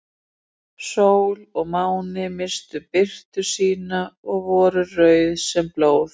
Sól og máni misstu birtu sína og voru rauð sem blóð.